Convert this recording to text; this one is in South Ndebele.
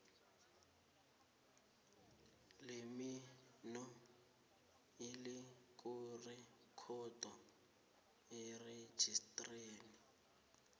lemino elizakurekhodwa erejisteni